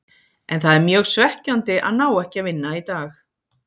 En það er mjög svekkjandi að ná ekki að vinna í dag.